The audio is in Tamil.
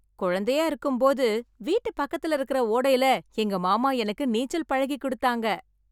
குழந்தையா இருக்கும்போது வீட்டு பக்கத்துல இருக்க ஓடையில எங்க மாமா எனக்கு நீச்சல் பழகி கொடுத்தாங்க.